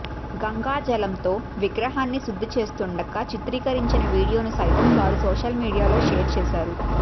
గంగా జలంతో విగ్రహాన్ని శుద్ధి చేస్తుండగా చిత్రీకరించిన వీడియోను సైతం వారు సోషల్ మీడియాలో షేర్ చేశారు